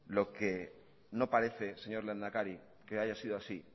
lo que no parece señor lehendakari que haya sido así